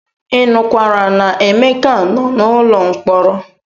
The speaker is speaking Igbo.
Ị nụkwara na Emeka nọ n'ụlọ mkpọrọ?